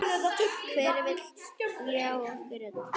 Hver vill ljá okkur rödd?